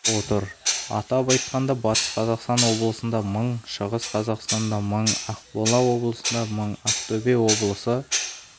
отыр атап айтқанда батыс қазақстан облысында мың шығыс қазақстанда мың ақмола облысында мың ақтөбе облысы